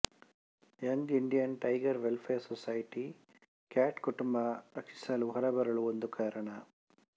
ಎಂದು Indian tiger welfare society cat ಕುಟುಂಬ ರಕ್ಷಿಸಲು ಹೊರಬರಲು ಒಂದು ಕಾರಣ